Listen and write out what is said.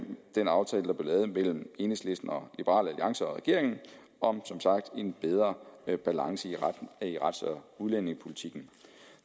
den aftale der blev lavet mellem enhedslisten og liberal alliance og regeringen om en bedre balance i rets og udlændingepolitikken